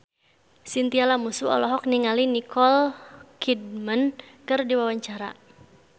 Chintya Lamusu olohok ningali Nicole Kidman keur diwawancara